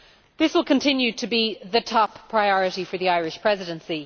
This will continue to be the top priority of the Irish Presidency.